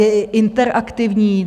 Je i interaktivní.